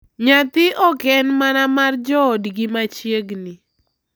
Nyathi ok en mana mar joodgi machiegni